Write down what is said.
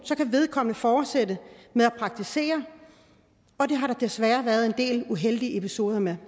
kan vedkommende fortsætte med at praktisere og det har der desværre været en del uheldige episoder med